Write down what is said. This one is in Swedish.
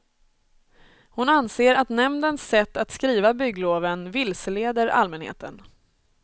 Hon anser att nämndens sätt att skriva byggloven vilseleder allmänheten.